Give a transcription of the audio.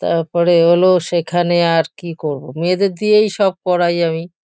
তারপরে হলো সেখানে আর কি করবো মেয়েদের দিয়েই সব করাই আমি।